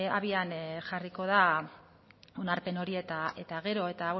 abian jarriko da onarpen hori eta gero eta